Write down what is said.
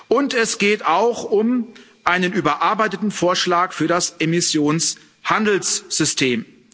Und es geht auch um einen überarbeiteten Vorschlag für das Emissionshandelssystem.